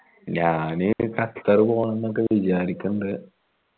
ഞാൻ ഖത്തർ പോവണമെന്നൊക്കെ വിചാരിക്കണ്ട്